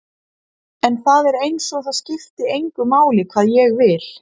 En það er einsog það skipti engu máli hvað ég vil.